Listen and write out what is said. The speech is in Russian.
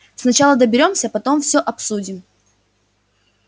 сначала доберёмся потом всё обсудим